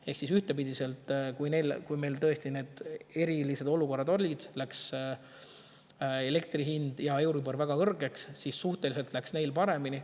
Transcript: Ehk ühtepidi, kui olid tõesti need erilised olukorrad ning elektri hind ja euribor läksid väga kõrgeks, siis läks neil paremini.